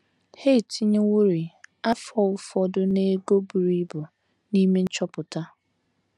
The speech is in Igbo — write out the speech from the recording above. Ha etinyeworị afọ ụfọdụ na ego buru ibu n’ime nchọpụta.